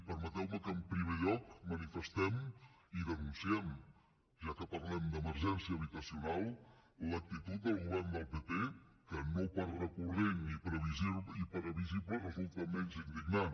permeteu me que en primer lloc manifestem i denunciem ja que parlem d’emergència habitacional l’actitud del govern del pp que no per recurrent i previsible resulta menys indignant